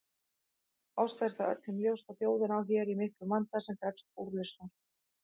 Oss er það öllum ljóst að þjóðin á hér í miklum vanda sem krefst úrlausnar.